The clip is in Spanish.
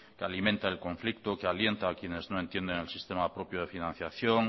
que alimenta el conflicto que alienta a quienes no entienden el sistema propio de financiación